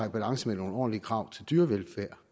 i balance med nogle ordentlige krav til dyrevelfærd